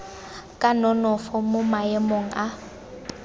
ka nonofo mo maemong a